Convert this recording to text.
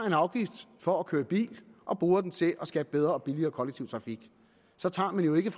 en afgift for at køre i bil og bruger den til at skabe bedre og billigere kollektiv trafik så tager man jo ikke